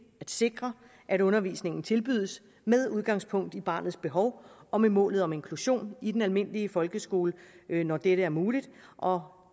at sikre at undervisningen tilbydes med udgangspunkt i barnets behov og med målet om inklusion i den almindelige folkeskole når dette er muligt og